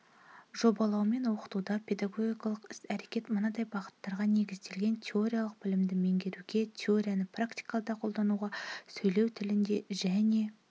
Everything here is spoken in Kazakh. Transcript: жобалаумен оқытуда педагогикалық іс-әрекет мынадай бағыттарға негізделген теориялық білімді меңгеруге теорияны практикада қолдануға сөйлеу тілінде және